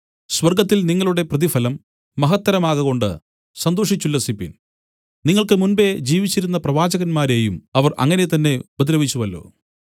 സ്വർഗ്ഗത്തിൽ നിങ്ങളുടെ പ്രതിഫലം മഹത്തരമാകകൊണ്ട് സന്തോഷിച്ചുല്ലസിപ്പിൻ നിങ്ങൾക്ക് മുമ്പെ ജീവിച്ചിരുന്ന പ്രവാചകന്മാരെയും അവർ അങ്ങനെ തന്നെ ഉപദ്രവിച്ചുവല്ലോ